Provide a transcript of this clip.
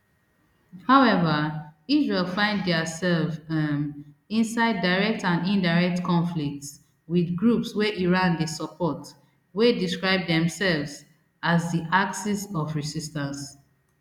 however israel find diasef um inside direct and indirect conflicts wit groups wey iran dey support wey describe demsefs as di axis of resistance